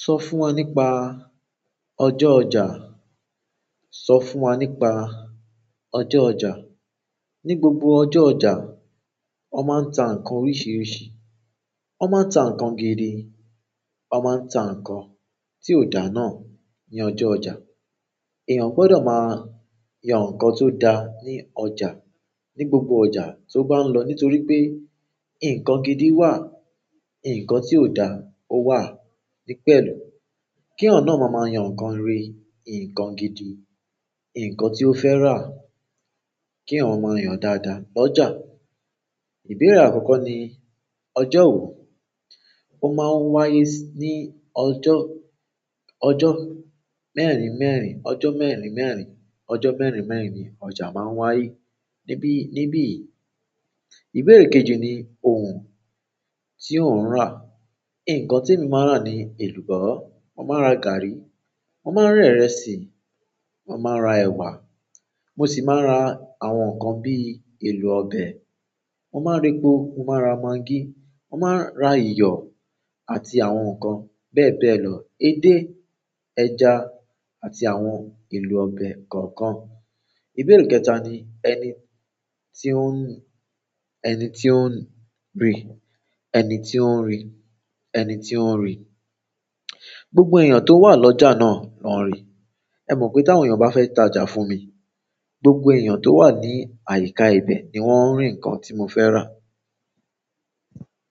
Sọ fún wa nípa ọjọ́ ọjà. Sọ fún wa nípa ọjọ́ ọjà. Ni gbogbo ọjọ́ ọjà, wọn máa ń ta nǹkan oríṣiríṣi. Wọ́n máa ń ta nǹkan gidi, wọn máa ń ta nǹkan tí ó dà náà ní ọjọ́ ọjà. Èèyàn gbọdọ̀ máa yan nǹkan tó da ní ọjà ní gbogbo ọjà tó bá ń lọ nítorí pé nǹkan gidi wà, nǹkan tí ó dà ó wà ní pẹ̀lú. Kí ọ̀nà wo máa máa yan nǹkan rẹ̀, nǹkan gidi, nǹkan tí ó fẹ́ rà? Kí ọmọ máa yan dáadáa lọ́jà. Ìbéèrè àkọ́kọ́ ni ọjọ́ wo? Ó máa ń wáyé ní ọjọ́, ọjọ́ mẹ́rin mẹ́rin, ọjọ́ mẹ́rin mẹ́rin, ọjọ́ mẹ́rin mẹ́rin ni ọjà máa ń wáyé níbi, níbi yìí. Ìbéèrè kejì ni ohun tí ò ń rà. Ǹkan tí emi máa rà ní èlùbọ́, mo máa ra gàárì, mo máa ra ìrẹsì, mo máa ra ẹ̀wà, mo sì máa ra àwọn nǹkan bí i èlò ọbẹ̀. Mo máa répo, mo máa ra magí, mo máa ra iyọ̀ àti àwọn nǹkan bẹ́ẹ̀ bẹ́ẹ̀ lọ, edé, ẹja àti àwọn èlò ọbẹ̀ kọ̀ọ̀kan. Ìbéèrè kẹ́ta ni ẹni tí ó ń, ẹni tí ó ń rì, ẹni tí ó ń rì, ẹni tí ó ń rì. Gbogbo èèyàn tó wà lọ́jà náà ló ń rì. Ẹ mọ̀ pé tí àwọn èèyàn bá fẹ́ tajà fún mi, gbogbo èèyàn tó wà ní àyíká ibẹ̀ ni wọ́n ń rì nǹkan tí mo fẹ́ rà.